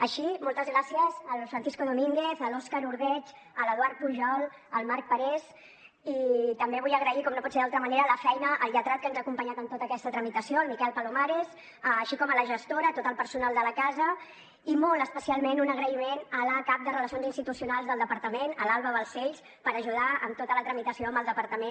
així moltes gràcies al francisco domínguez a l’òscar ordeig a l’eduard pujol al marc parés i també vull agrair com no pot ser d’una altra manera la feina al lletrat que ens ha acompanyat en tota aquesta tramitació el miquel palomares així com a la gestora tot el personal de la casa i molt especialment un agraïment a la cap de relacions institucionals del departament a l’alba balcells per ajudar en tota la tramitació amb el departament